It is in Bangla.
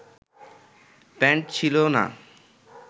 প্যান্ট ছিলো না